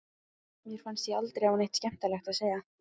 Mér fannst ég aldrei hafa neitt skemmtilegt að segja.